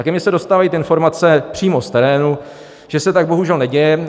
A ke mně se dostávají informace přímo z terénu, že se tak bohužel neděje.